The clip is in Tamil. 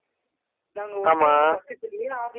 நாங்க ஒட்டுனதுக்கு பக்கத்துலேயே office